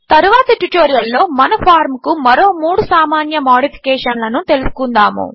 తరువాతి ట్యుటోరియల్లో మన ఫార్మ్ కు మరో మూడు సామాన్య మాడిఫికేషన్లను తెలుసుకుందాము